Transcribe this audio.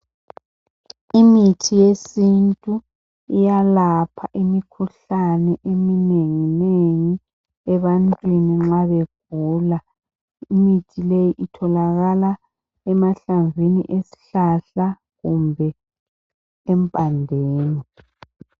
Imithi yesintu iyalapha imikhuhlane eminengi nengi ebantwini nxa begula. Imithi leyi itholakala amahlamvini esihlala kumbe empandeni .